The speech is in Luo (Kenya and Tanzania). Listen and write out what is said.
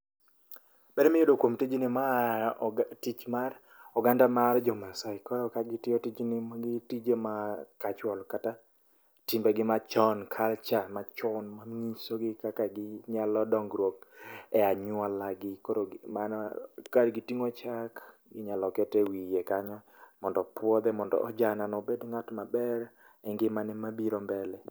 Ber miyudo kuom tijni ma a oga tich mar oganda mar jo Masai. Koro ka gitiyo tijni magi tije ma kachuol kata timbe gi machon kalcha machon ma nyisogi kaka ginyalo dongruok e anyuola gi. Koro gi mano ka giting'o chak, inyalo ket e wiye kanyo. Mondo opuodhe mondo ojana no obed ng'at maber e ngima ne mabiro mbele.